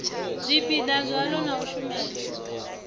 zwipiḓa zwaḽo na u shumela